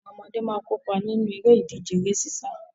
Àwọn ọmọdé máa kópa nínú eré ìdíje eré sísá.